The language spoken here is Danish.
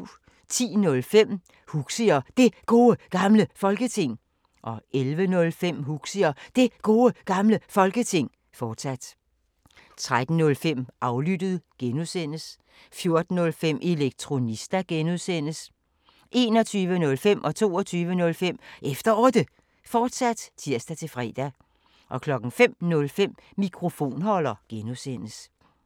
10:05: Huxi og Det Gode Gamle Folketing 11:05: Huxi og Det Gode Gamle Folketing, fortsat 13:05: Aflyttet G) 14:05: Elektronista (G) 21:05: Efter Otte, fortsat (tir-fre) 22:05: Efter Otte, fortsat (tir-fre) 05:05: Mikrofonholder (G)